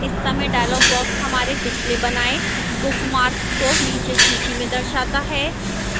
इस समय dialog box हमारे पिछले बनाए bookmark को नीचे सूची में दर्शाता है